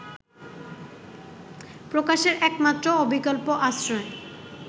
প্রকাশের একমাত্র অবিকল্প আশ্রয়